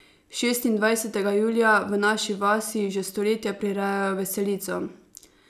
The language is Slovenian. Šestindvajsetega julija v naši vasi že stoletja prirejajo veselico.